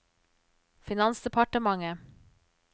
finansdepartementet